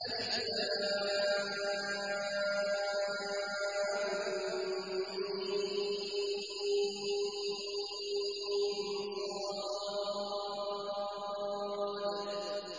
المص